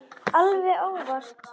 Alveg óvart.